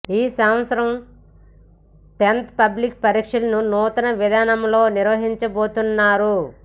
ఈ సంవత్సరం tenth public పరీక్షలను నూతన విధానంలో నిర్వహించబోతున్నారు